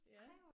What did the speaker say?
Ja